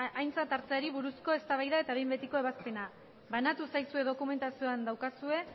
aintzat hartzeari buruzko eztabaida eta behin betiko ebazpena banatu zaizuen dokumentazioan daukazue